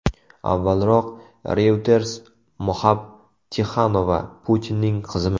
Avvalroq Reuters Moxab Tixonova Putinning qizimi?